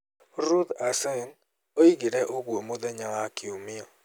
Ruth Aceng oigire ũguo mũthenya wa Kiumia.